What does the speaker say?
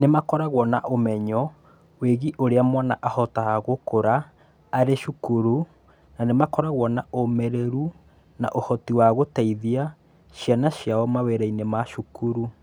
Nĩ makoragwo na ũmenyo wĩgiĩ ũrĩa mwana ahotaga gũkũra arĩ cukuru, na makoragwo na ũmĩrĩru na ũhoti wa gũteithia ciana ciao mawĩra-inĩ ma cukuru.